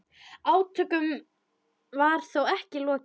Átökum var þó ekki lokið.